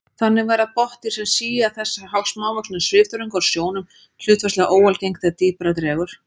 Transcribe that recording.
Þannig verða botndýr sem sía þessa smávöxnu svifþörunga úr sjónum hlutfallslega óalgeng þegar dýpra dregur.